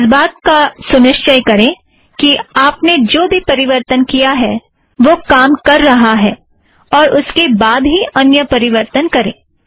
इस बात का सुनिश्चय करें कि आपने जो भी परिवर्तन किया है वह काम कर रहा है और उसके बाद ही अन्य परिवर्तन करें